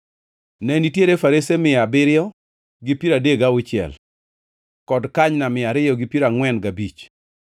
Ne nitiere farese mia abiriyo gi piero adek gauchiel (736) kod kanyna mia ariyo gi piero angʼwen gabich (245)